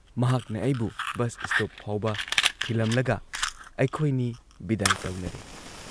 ꯃꯍꯥꯛꯅ ꯑꯩꯕꯨ bus stop ꯐꯥꯎꯕ ꯊꯤꯜꯂꯝꯂꯒ ꯑꯩꯈꯣꯏꯅꯤ ꯕꯤꯗꯥꯏ ꯇꯧꯅꯔꯦ ꯫